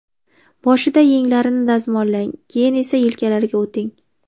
Boshida yenglarini dazmollang, keyin esa yelkalariga o‘ting.